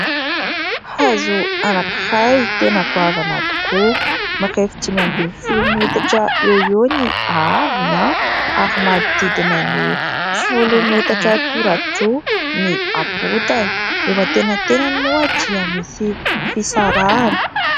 Hazo anankiray tena goavana tokoa ; mirefy dimy ambin'ny folo metatra eo eo ny ahavony ary manodidina ny folo metatra tora-droa ny habotany ; eo antenantenany moa dia misy fisarahany.